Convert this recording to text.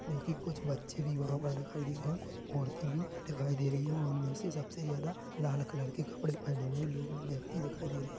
जो की कुछ बच्चे भी वहां दिखाई दे रहे हैं कुछ औरतें भी दिखाई दे रही है उनमें से सबसे ज्यादा लाल कलर के कपड़े पहने हुए लोग भी व्यक्ति दिखाई दे रहे हैं।